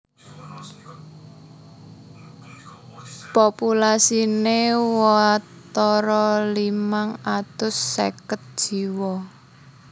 Populasiné watara limang atus seket jiwa